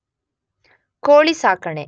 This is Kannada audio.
ಕೋಳಿ ಸಾಕಣೆ